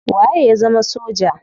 Waye ya zama soja?